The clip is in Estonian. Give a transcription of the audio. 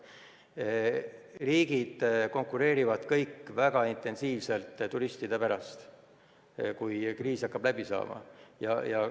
Kõik riigid konkureerivad väga intensiivselt turistide pärast, kui kriis hakkab läbi saama.